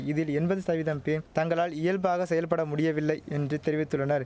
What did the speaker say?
இதில் எண்பது சதவீதம் பேம் தங்களால் இயல்பாக செயல்படமுடிவில்லை என்று தெரிவித்துள்ளனர்